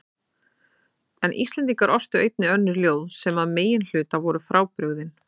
En Íslendingar ortu einnig önnur ljóð sem að meginhluta voru frábrugðin